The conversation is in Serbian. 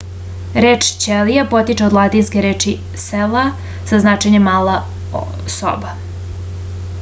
reč ćelija potiče od latinske reči cella sa značenjem mala soba